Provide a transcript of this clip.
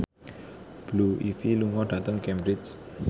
Blue Ivy lunga dhateng Cambridge